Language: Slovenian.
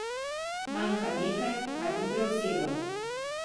Manjka nekaj, kar bi prevzelo.